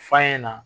F'a ɲɛna